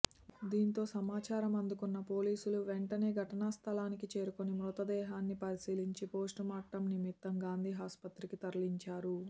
దీంతో సమాచారం అందుకున్న పోలీసులు వెంటనే ఘటనా స్థలానికి చేరుకొని మృతదేహన్ని పరిశీలించి పోస్టుమార్టం నిమిత్తం గాంధీ ఆసుపత్రికి తరలించారు